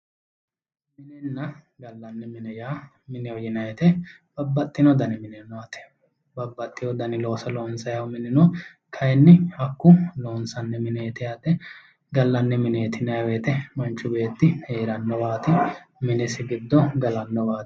minenna gallanni mine yineemmo wote babbaxino dani looso loonsanniha ikkanna kayiinni hakku gallanni mineeti yineemmo wote manchi beetti heerannowaati minisi giddo galannowaati.